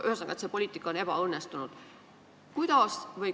Ühesõnaga, et see poliitika on ebaõnnestunud.